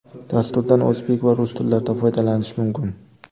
Dasturdan o‘zbek va rus tillarida foydalanish mumkin.